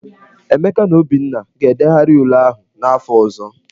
Emeka na Obinna ga-edegharị ule ahụ n'afọ ọzọ.